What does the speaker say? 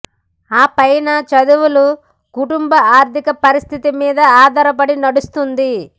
ఆ పైన చదువులు కుటుంభ ఆర్థిక పరిస్థితి మీద ఆధారపడి నడుస్తుంది